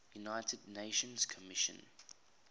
united nations commission